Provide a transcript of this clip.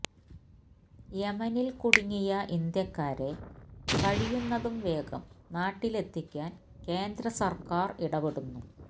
യെമനില് കുടുങ്ങിയ ഇന്ത്യക്കാരെ കഴിയുന്നതും വേഗം നാട്ടിലെത്തിക്കാന് കേന്ദ്ര സര്ക്കാര് ഇടപെടുന്നു